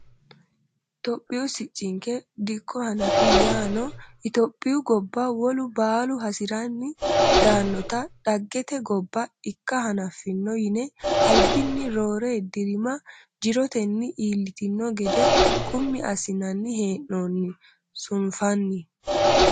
Tophiyu siccinke dikko hanafi yaano itophiyu gobba wolu baallu hasiranni daanotta dhaggete gobba ikka hanafino yine albinni rooro dirima jiroteni iillitino gede qummi assinanni hee'noonni ,sunfanni.